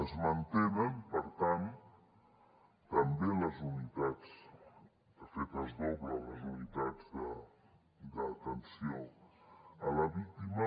es mantenen per tant també les unitats de fet es doblen les unitats d’atenció a la víctima